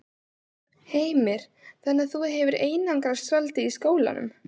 Heimir: Þannig að þú hefur einangrast svolítið í skólanum?